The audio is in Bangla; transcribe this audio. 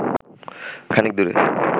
খানিক দূরে